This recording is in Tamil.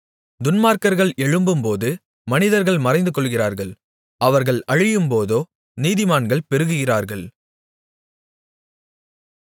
துன்மார்க்கர்கள் எழும்பும்போது மனிதர்கள் மறைந்துகொள்கிறார்கள் அவர்கள் அழியும்போதோ நீதிமான்கள் பெருகுகிறார்கள்